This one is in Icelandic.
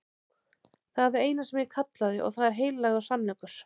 Það er það eina sem ég kallaði og það er heilagur sannleikur.